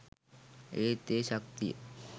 ඒත් ඒ ශක්තිය